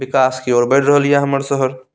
विकास की ओर बढ़ रहल ये हमर शहर।